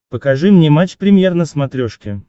покажи мне матч премьер на смотрешке